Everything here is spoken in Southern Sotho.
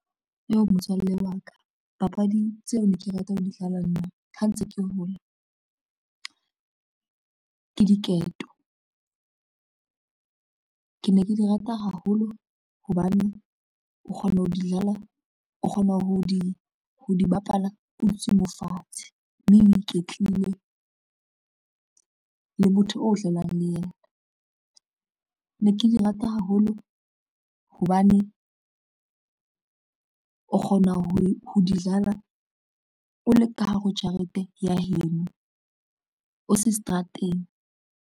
Yoh motswalle wa ka papadi tseo ne ke rata ho di dlala, nna ha ntse ke hola ke diketo, ke ne ke di rata haholo hobane o kgona ho di ho di bapala, o dutse mo fatshe mme o iketlile le motho o dlalang le yena. Ne ke di ke rata haholo hobane o kgona ho di dlala o le ka hare ho jarete ya heno o se seterateng.